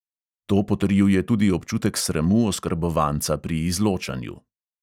To potrjuje tudi občutek sramu oskrbovanca pri izločanju.